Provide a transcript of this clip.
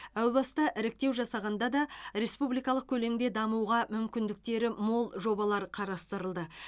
әу баста іріктеу жасағанда да республикалық көлемде дамуға мүмкіндіктері мол жобалар қарастырылды